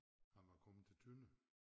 Han var kommet til Tønder